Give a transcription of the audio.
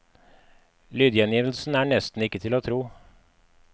Lydgjengivelsen er nesten ikke til å tro.